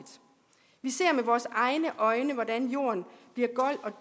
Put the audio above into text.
vi ser med vores egne øjne hvordan jorden bliver gold